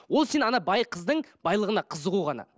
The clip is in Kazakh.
ол сен ана қыздың байлығына қызығу ғана